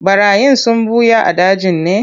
Ɓarayin sun ɓuya a dajin ne?